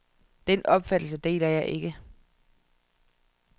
Den opfattelse deler jeg ikke.